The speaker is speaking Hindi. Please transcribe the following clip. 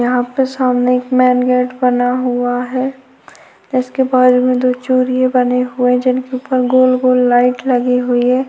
यहाँ पे सामने एक मेन गेट बना हुआ है इसके बाजू में दो चूरिए बने हुए है जिनके ऊपर गोल- गोल लाइट लगी हुई हैं।